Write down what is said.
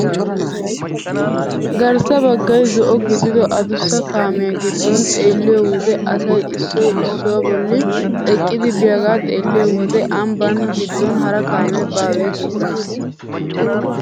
Garssa baggay zo'o gidido adussa kaamiyaa giddo xeelliyoo wode asay issoy issuwaa bolli eqqidi biyaagaa xeelliyoo wode ambbaa giddon hara kaamee baawe giissees!